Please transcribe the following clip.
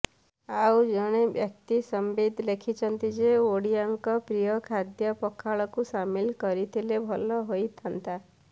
ଆଉ ଜଣେ ବ୍ୟକ୍ତି ସଂବିତ୍ ଲେଖିଛନ୍ତି ଯେ ଓଡ଼ିଆଙ୍କ ପ୍ରିୟ ଖାଦ୍ୟ ପଖାଳକୁ ସାମିଲ କରିଥିଲେ ଭଲ ହୋଇଥାନ୍ତା